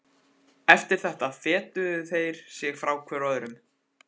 Eftir þetta fetuðu þeir sig hvor frá öðrum.